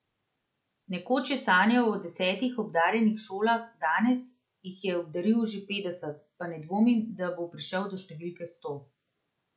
Nekoč je sanjal o desetih obdarjenih šolah, danes, ko jih je obdaril že petdeset, pa ne dvomi, da bo prišel do številke sto.